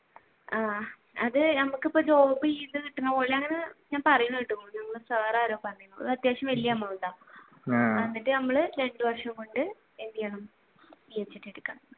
ആഹ് അത് ഞമ്മക്ക് ഇപ്പൊ job ചെയ്തു കിട്ടണപോലെയാണ് എന്ന് ഞാൻ പറയണ കേട്ടൂ അത്യാവശ്യം വലിയ amount ആണ് അന്നിട്ട് നമ്മൾ രണ്ടു വര്ഷം കൊണ്ട് എന്ത് ചെയ്യണം PhD എടുക്കാം